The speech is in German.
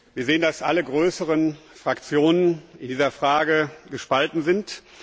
Wir sehen, dass alle größeren Fraktionen in dieser Frage gespalten sind.